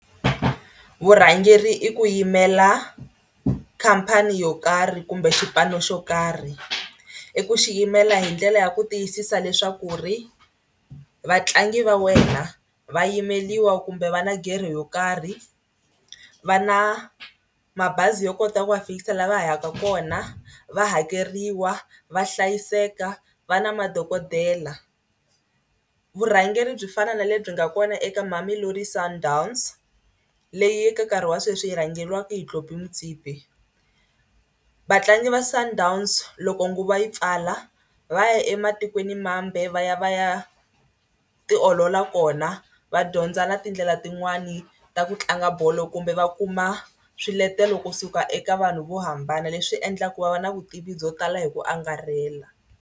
Vurhangeri i ku yimela khampani yo karhi kumbe xipano xo karhi. I ku xi yimela hi ndlela ya ku tiyisisa leswaku ri vatlangi va wena va yimeriwa kumbe va na gerhe yo karhi. Va na mabazi yo kota ku va fikisa laha va yaka kona, va hakeriwa, va hlayiseka, va na madokodela. Vurhangeri byi fana na lebyi nga kona eka Mamelodi Sundowns leyi ka nkarhi wa sweswi yi rhangeriwaka hi Tlhopie Motsepe. Vatlangi va Sundowns loko nguva yi pfala va ya ematikwenimambe va ya va ya tiolola kona va dyondza na tindlela tin'wani ta ku tlanga bolo kumbe va kuma swiletelo kusuka eka vanhu vo hambana leswi endlaka ku va va na vutivi byo tala hi ku angarhela.